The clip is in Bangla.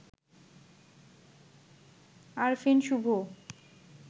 আরফিন শুভ